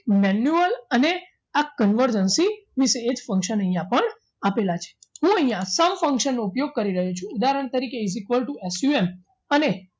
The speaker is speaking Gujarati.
Manual અને આ convergency વિશે એક function અહીંયા પણ આપેલા છે હું આ સૌ function નો ઉપયોગ કરી રહ્યો છું ઉદાહરણ તરીકે is equal to ocue અને